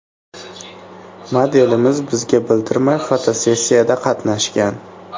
Modelimiz bizga bildirmay fotosessiyada qatnashgan.